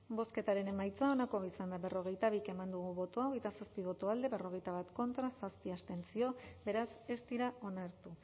bozketaren emaitza onako izan da berrogeita bi eman dugu bozka hogeita zazpi boto alde berrogeita bat contra zazpi abstentzio beraz ez dira onartu